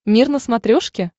мир на смотрешке